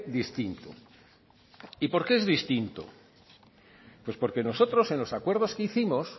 distinto y por qué es distinto pues porque nosotros en los acuerdos que hicimos